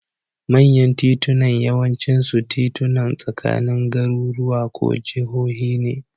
Manyan titunan yawancinsu titunan tsakanin garuruwa ko jahohi ne.